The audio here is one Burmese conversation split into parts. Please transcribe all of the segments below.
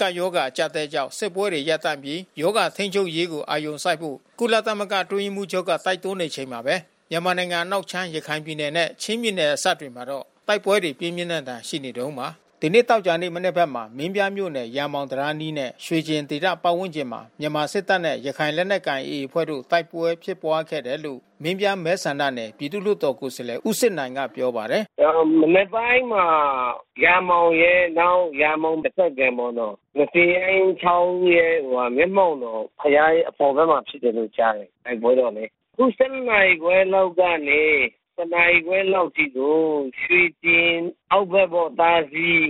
ကပ်ရောဂါ အကြပ်အတည်းကြောင့် စစ်ပွဲတွေရပ်တန့်ပြီး ရောဂါထိန်းချုပ်ရေးကို အာရုံစိုက်ဖို့ ကုလသမဂ္ဂအတွင်းရေးမှုးချုပ်က တိုက်တွန်းနေချိန်မှာပဲ၊ မြန်မာနိုင်ငံအနောက်ခြမ်း ရခိုင်ပြည်နယ်နဲ့ ချင်းပြည် နယ်စပ်တွေမှာတော့ တိုက်ပွဲတွေက ပြင်းပြင်းထန်ထန်ရှိနေတုန်းပါ။ ဒီနေ့သောကြာနေ့ မနက်ဘက်မှာ မင်းပြားမြို့နယ် ရာမောင်တံတားအနီးနဲ့ရွှေကျင်ဒေသပတ်ဝန်းကျင်မှာ မြန်မာ စစ်တပ်နဲ့ရခိုင်လက်နက်ကိုင် (AA) အဖွဲ့တို့တိုက်ပွဲဖြစ်ပွါးခဲ့တယ်လို့ မင်းပြားမဲဆန္ဒနယ်ပြည်သူ့လွှတ်တော်ကိုယ်စားလှယ်ဦးစစ်နိုင်ကပြောပါတယ်။ “မနက်ပိုင်းမှာ ရာမောင်ရယ် နောက်ရာမောင်တဖက်ကမ်းပေါ့နော်။ ငဇင်ရိုင်းချောင်းရဲ့ ဟိုဟာမျက်မှောက်တော် ဘုရား ရဲ့အပေါ်ဖက်မှာဖြစ်တယ်လို့ကြားတယ်။ တိုက်ပွဲပေါ့လေ။ အခု(၁၂)နာရီခွဲလောက်ကနေ (၁)နာရီခွဲ လောက်အထိ ကို ရွှေကျင်အောက်ဖက်ပေါ့ သာစည်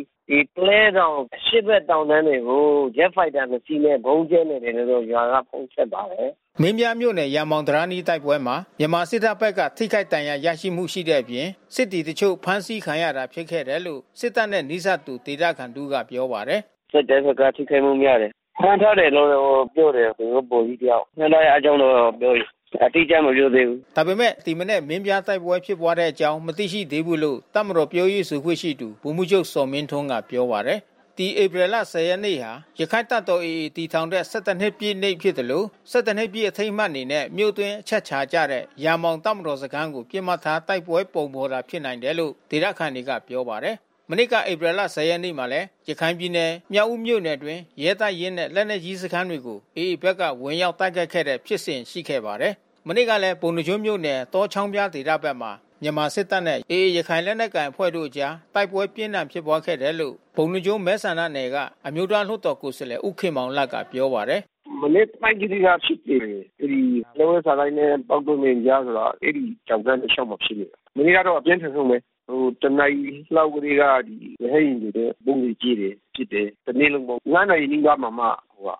ပုလဲတောင်အရှေ့ဖက်တောင်တန်းတွေကို ဂျက်ဖိုက်တာနှစ်စီးနဲ့ဗုံးကြဲနေတယ် လို့ ရွာကဖုန်းဆက်ပါတယ်။” မင်းပြားမြို့နယ်ရာမောင်တံတားအနီးတိုက်ပွဲမှာ မြန်မာစစ်တပ်ဖက်က ထိခိုက်ဒဏ်ရာရမှုရှိတဲ့အပြင်၊ စစ်သည်အချို့ ဖမ်းဆီးခံရတာဖြစ်ခဲ့တယ်လို့ စစ်တပ်နဲ့နီးစပ်သူဒေသခံ တဦးက ပြောပါတယ်။ “စစ်တပ်ဖက်ကထိခိုက်မှုများတယ်။ ဖမ်းထားတယ်လို့တော့ပြောတယ်သူတို့ဗိုလ်ကြီးတယောက်။ ဖမ်းထားတဲ့ အကြောင်းတော့ပြောတယ်။ အတိအကျမပြောသေးဘူး။” ဒါပေမဲ့ ဒီမနက်မင်းပြားတိုက်ပွဲဖြစ်ပွါးတဲ့အကြောင်း မသိရှိသေးဘူးလို့ တပ်မတော်ပြောရေးဆိုခွင့်ရှိသူ ဗိုလ်မှူးချုပ် ဇော်မင်းထွန်းက ပြောပါတယ်။ ဒီဧပြီလ(၁၀)ရက်နေ့ဟာ ရခိုင်တပ်တော် (AA) တည်ထောင်တဲ့(၁၁)နှစ်ပြည့်တဲ့နေ့ဖြစ်သလို (၁၁)နှစ်ပြည့်အထိမ်း အမှတ်အနေနဲ့ မြို့အတွင်း အချက်ချာကျတဲ့ ရာမောင်တပ်မတော်စခန်းတွေကို ပစ်မှတ်ထားတိုက်ပွဲပုံဖေါ် တာဖြစ်နိုင်တယ်လို့လဲ ဒေသခံတွေက ပြောပါတယ်။ မနှစ်ကဧပြီလ(၁၀)ရက်နေ့မှာလဲ ရခိုင်ပြည်နယ် မြောက်ဦးမြို့ အတွင်းရဲတပ်ရင်းနဲ့လက်နက်ကြီးစခန်းတွေကို AAဘက်က ဝင်ရောက်တိုက်ခိုက်တဲ့ဖြစ်စဉ်ရှိခဲ့ပါတယ်။ မနေ့ကလဲပုဏ္ဏားကျွန်းမြို့နယ် တောချောင်းဖျားဒေသဖက်မှာ မြန်မာစစ်တပ်နဲ့AAရခိုင်လက်နက်ကိုင်အဖွဲ့တို့ အကြား တိုက်ပွဲပြင်းထန်ဖြစ်ပွါးခဲ့တယ်လို့ ပုဏ္ဏားကျွန်းမဲဆန္ဒနယ်က အမျိုးသားလွှတ်တော်ကိုယ်စားလှယ် ဦးခင်မောင်လတ်ကပြောပါတယ်။ “မနက်ပိုင်းကတည်းကဖြစ်တယ်။ အဲဒီ လက်ဝဲစာတိုက်နဲ့ပေါက်တောပြင်ကြားဆိုတာ အဲဒီတောင်တန်းတလျှောက် မှာ ဖြစ်နေတာ။ မနေ့ကတော့အပြင်းထန်ဆုံးဘဲ။ တနာရီလောက်ကတည်းက ရဟတ်ယာဉ်နဲ့ဗုံးတွေကြဲတယ်။ ပစ်တယ်။ တနေ့လုံးပေါ့။ (၅)နာရီနီးပါးမှာမှ ဟ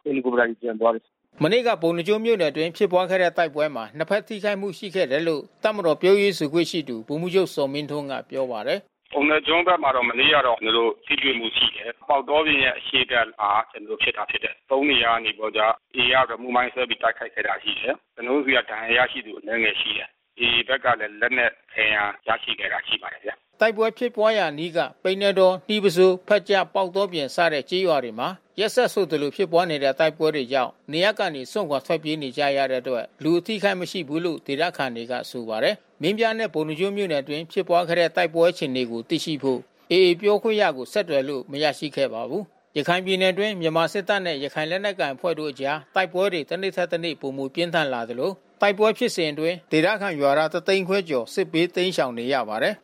ယ်လီကော်ပတာတွေပြန်သွားတယ်။” မနေ့ကပုဏ္ဏားကျွန်းမြို့နယ်အတွင်းဖြစ်ပွါးခဲ့တဲ့တိုက်ပွဲမှာ နှစ်ဖက်ထိခိုက်မှုရှိခဲ့တယ်လို့ တပ်မတော်ပြောရေးဆိုခွင့် ရှိသူ ဗိုလ်မှူးချုပ် ဇော်မင်းထွန်းက ပြောပါတယ်။ “ပုဏ္ဏားကျွန်းဖက်မှာတော့ မနေ့ကတော့ကျွန်တော်တို့ ထိတွေ့မှုရှိတယ်။ ပေါက်တောပြင်ရဲ့အရှေ့ဖက်မှာကျွန်တော်တို့ ဖြစ်တာဖြစ်တယ်။ (၃)နေရာနေပြီးတော့က (AA) က remote မိုင်းဆွဲပြီးတိုက်ခိုက်တာရှိတယ်။ ကျွန်တော်တို့ဆီက ဒဏ်ရာ ရရှိသူအနည်းငယ်ရှိတယ်။ (AA) ဖက်ကလဲ လက်နက်ခဲယမ်းရရှိခဲ့တာရှိပါတယ်ဗျာ။” တိုက်ပွဲဖြစ်ပွါးရာအနီးက ပိန္နဲတော၊ နှီးပုဆိုး၊ ဖက်ကျ၊ ပေါက်တောပြင် စတဲ့ကျေးရွာတွေမှာ ရက်ဆက်ဆိုသလိုဖြစ်ပွါးနေတဲ့ တိုက်ပွဲတွေကြောင့် နေရပ်ကနေစွန့်ခွါထွက်ပြေးနေကြတဲ့အတွက် လူအထိခိုက်မရှိဘူးလို့ဒေသခံတွေက ဆိုပါတယ်။ မင်းပြားနဲ့ ပုဏ္ဏားကျွန်းမြို့နယ်အတွင်းဖြစ်ပွါးခဲ့တဲ့တိုက်ပွဲအခြေအနေကိုသိရှိဖို့ (AA) ပြောခွင့်ရကို ဆက်သွယ်လို့ မရရှိခဲ့ပါဘူး။ရခိုင်ပြည်နယ်အတွင်း မြန်မာစစ်တပ်နဲ့ရခိုင်လက်နက်ကိုင်အဖွဲ့တို့အကြား တိုက်ပွဲတွေ တနေ့ထက်တနေ့ပြင်းထန်လာသလို တိုက်ပွဲဖြစ်စဉ်အတွင်းဒေသခံရွာသားတသိန်းခွဲကျော် စစ်ဘေး တိမ်းရှောင်နေရပါတယ်